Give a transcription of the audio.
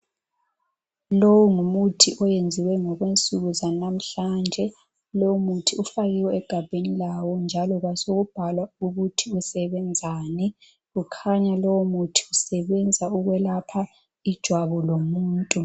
Longumuthi oyenziwe ngokwensuku zanamuhlanje, lomuthi ufakiwe egabheni lawo njalo kwasekubhalwa ukuthi usebenzani. Ukhanya lomuthi usebenza ukwelapha ijwabu lomuntu.